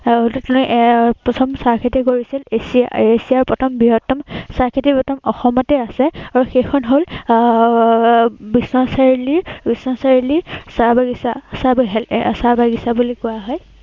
আহ তেওঁ এৰ আহ প্ৰথম চাহ খেতি কৰিছিল, এচিয়া, এচিয়াৰ প্ৰথম বৃহত্তম প্ৰথম চাহ খেতি প্ৰথম অসমতেই আছে। আৰু সেইখন হল আহ এৰ বিশ্বনাথ চাৰিআলিৰ এৰ বিশ্বনাথ চাৰিআলিৰ চাহ বাগিছা। এৰ চাহ বাগিছা বুলি কোৱা হয়।